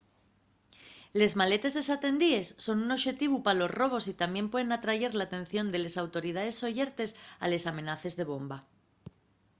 les maletes desatendíes son un oxetivu pa los robos y tamién puen atrayer l’atención de les autoridaes sollertes a les amenaces de bomba